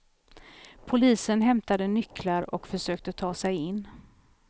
Polisen hämtade nycklar och försökte ta sig in.